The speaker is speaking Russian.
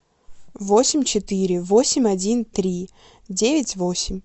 восемь четыре восемь один три девять восемь